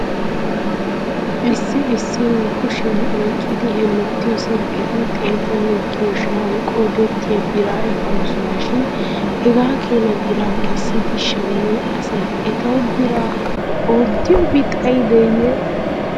Issi issi nu kushiyan oyqqidi hemettiyoo silkketi xeetanne giyoo sha'an qoodettiyaa biraa ekkooson shin hegaa keena biraa kessidi shamiyaa asay etaw biraa oottiyoobi xayideeyye?